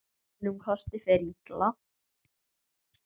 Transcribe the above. Að öðrum kosti fer illa.